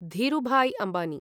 Dhirubhai Ambani